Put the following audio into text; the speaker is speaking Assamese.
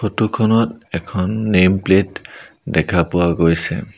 ফটো খনত এখন নেম্ প্লেট দেখা পোৱা গৈছে।